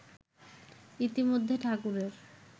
ইতিমধ্যে ঠাকুরের